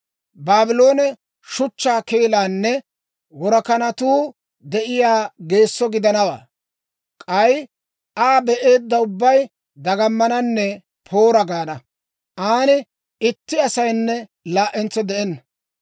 Baabloone shuchchaa keelaanne worakanatuu de'iyaa geesso gidanawaa. K'ay Aa be'eedda ubbay dagamananne, ‹Poora!› gaana. An itti asaynne laa"entso de'enna.